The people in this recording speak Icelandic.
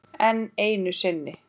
Enn einu sinni.